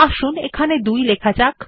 আসুন এখানে 2 লেখা যাক